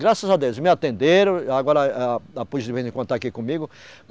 Graças a Deus, me atenderam, agora a, a, a polícia de vez em quando está aqui comigo.